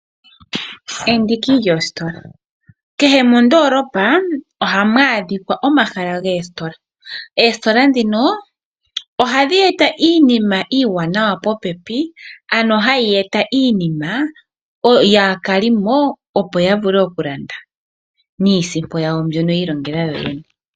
Kehe mondolopa ohamu adhikwa omahala goositola. Oositola dhino ohadhi eta iinima iiwanawa popepi ano hayi eta iinima yo aakalimo opo ya vule okulanda, niisimpo yawo mbyoka ya ilongela yoyene.